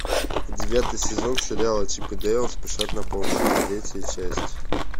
девятый сезон сериала чип и дейл спешат на помощь третья часть